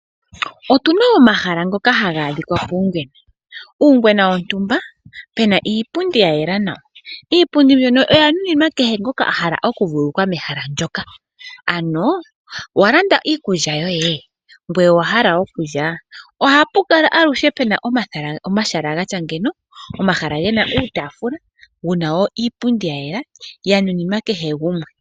Otuna omahala ngoka haga adhikwa poongwena. Uungwena wontumba puna iipundi ya yela nawa. Iipundi mbino oya nuninwa kehe ngoka a hala oku vululukwa mehala ndoka. Ano owa landa iikulya yoye, ngoye owa hala okulya? Ohapu kala aluhe puna omahala gatya ngeika, omahala gena uutaafula, wuna wo iipundi ya yela, ya nuninwa kehe gumwe.